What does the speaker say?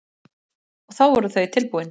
Og þá voru þau tilbúin.